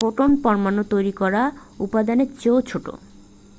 photon পরমাণু তৈরি করা উপাদানের চেয়েও ছোট